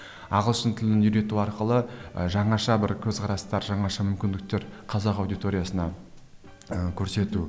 ы ағылшын тілін үйрету арқылы ы жаңаша бір көзқарастар жаңаша мүмкіндіктер қазақ аудиториясына ыыы көрсету